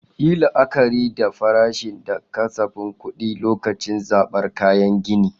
Yi la'akari da farashi da kasafin kuɗi lokacin zabar kayan gini.